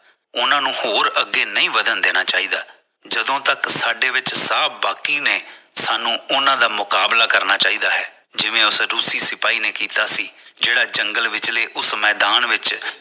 ਉਹਨਾਂ ਨੂੰ ਹੋਰ ਅੱਗੇ ਨਹੀਂ ਵੱਧਣ ਜਦੋ ਤੱਕ ਸਾਡੇ ਵਿੱਚ ਸਾਹ ਬਾਕੀ ਨੇ ਸਾਨੂੰ ਉਹਨਾਂ ਦਾ ਮੁਕਾਬਲਾ ਕਰਨਾ ਚਾਈਦਾ ਹੈ ਜਿਵੇਂ ਉਸ ਰੁੱਸੀ ਸਿਪਾਹੀ ਨੇ ਕੀਤਾ ਸੀ ਜਿਹੜਾ ਜੰਗਲ ਵਿੱਚ ਉਸ ਮੈਦਾਨ ਵਿੱਚ